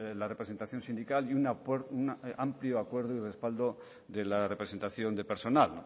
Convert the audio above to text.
la representación sindical y un amplio acuerdo y respaldo de la representación del personal